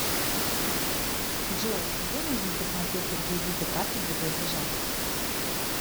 джой где можно посмотреть реквизиты карты для платежа